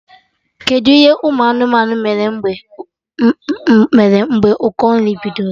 Kedụ ihe ụmụ anụmanụ mere mgbe ụkọ nri bidoro?